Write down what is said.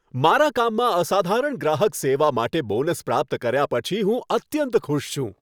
મારા કામમાં અસાધારણ ગ્રાહક સેવા માટે બોનસ પ્રાપ્ત કર્યા પછી હું અત્યંત ખુશ છું.